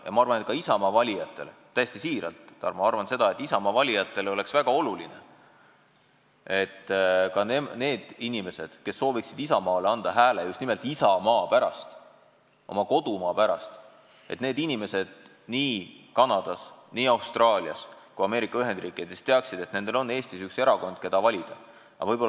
Ja ma arvan, et ka Isamaa valijatele – täiesti siiralt, Tarmo, ma arvan seda –, et ka Isamaa valijatele on väga oluline, et ka need inimesed, kes sooviksid Isamaale anda hääle just nimelt isamaa pärast, oma kodumaa pärast, et need inimesed nii Kanadas, Austraalias kui Ameerika Ühendriikides teaksid, et neil on Eestis üks erakond, keda valida.